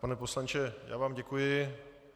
Pane poslanče, já vám děkuji.